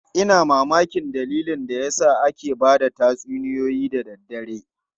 Ina mamakin dalilin da yasa ake ba da tatsuniyoyi da daddare.